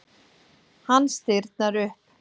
Hann stirðnar upp.